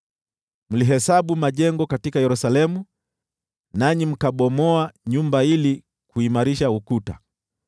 Mlihesabu majengo katika Yerusalemu nanyi mkabomoa nyumba ili kuimarisha ukuta.